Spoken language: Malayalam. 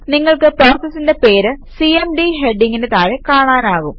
നിങ്ങൾക്ക് പ്രോസസിന്റെ പേര് സിഎംഡി ഹെഡിംഗിന് താഴെ കാണാനാകും